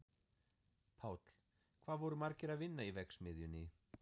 Páll: Hvað voru margir að vinna í verksmiðjunni?